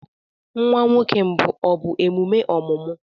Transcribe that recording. Nwa nwoke mbụ ọ bụ emume ọmụmụ?